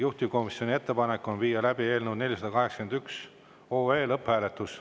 Juhtivkomisjoni ettepanek on viia läbi eelnõu 481 lõpphääletus.